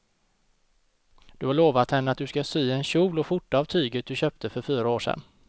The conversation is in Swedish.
Du har lovat henne att du ska sy en kjol och skjorta av tyget du köpte för fyra år sedan.